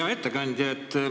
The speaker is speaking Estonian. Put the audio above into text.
Hea ettekandja!